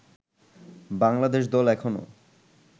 বাংলাদেশ দল এখনও